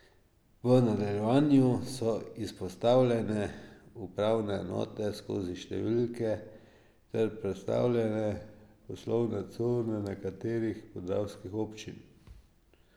V nadaljevanju so izpostavljene upravne enote skozi številke ter predstavljene poslovne cone nekaterih podravskih občin.